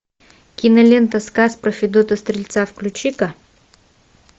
кинолента сказ про федота стрельца включи ка